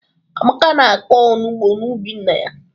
Amaka na-akọ onugbu n'ubi nna ya